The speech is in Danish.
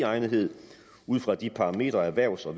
egnethed ud fra de parametre erhvervs og